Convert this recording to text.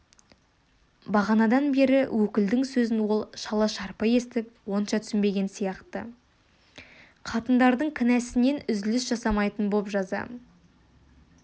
бағанадан бергі өкілдің сөзін ол шала-шарпы естіп онша түсінбеген сияқты қатындардың кінәсінен үзіліс жасамайтын боп жаза